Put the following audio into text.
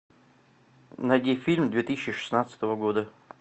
найди фильм две тысячи шестнадцатого года